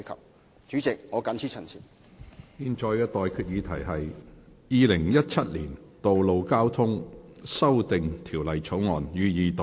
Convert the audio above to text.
我現在向各位提出的待決議題是：《2017年道路交通條例草案》，予以二讀。